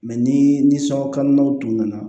ni ni sokɔnɔnaw tun nana